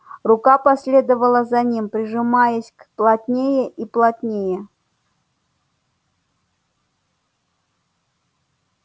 рука последовала за ним прижимаясь плотнее и плотнее